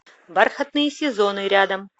бархатные сезоны рядом